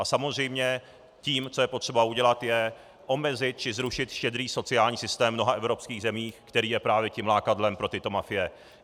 A samozřejmě tím, co je potřeba udělat, je omezit či zrušit štědrý sociální systém v mnoha evropských zemích, který je právě tím lákadlem pro tyto mafie.